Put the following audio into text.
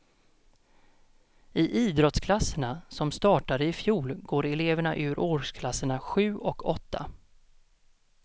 I idrottsklasserna, som startade i fjol, går elever ur årsklasserna sju och åtta.